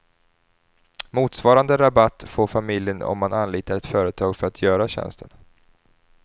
Motsvarande rabatt får familjen om man anlitar ett företag för att göra tjänsten.